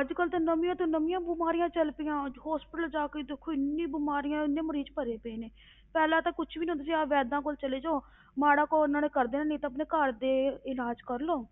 ਅੱਜ ਕੱਲ੍ਹ ਤਾਂ ਨਵੀਂਆਂ ਤੋਂ ਨਵੀਂਆਂ ਬਿਮਾਰੀਆਂ ਚੱਲ ਪਈਆਂ, ਅੱਜ hospital ਜਾ ਕੇ ਦੇਖੋ ਇੰਨੀ ਬਿਮਾਰੀਆਂ ਇੰਨੇ ਮਰੀਜ਼ ਭਰੇ ਪਏ ਨੇ ਪਹਿਲਾਂ ਤਾਂ ਕੁਛ ਵੀ ਨੀ ਹੁੰਦਾ ਸੀ, ਆਹ ਵੈਂਦਾ ਕੋਲ ਚਲੇ ਜਾਓ ਮਾੜਾ ਕੁ ਉਹਨਾਂ ਨੇ ਕਰ ਦੇਣਾ, ਨਹੀਂ ਤਾਂ ਆਪਣੇ ਘਰ ਦੇ ਇਲਾਜ਼ ਕਰ ਲਓ,